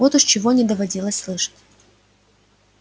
вот уж чего не доводилось слышать